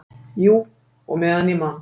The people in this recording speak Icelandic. """Jú, og meðan ég man."""